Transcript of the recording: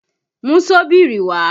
Mú ṣọ́bìrì wá!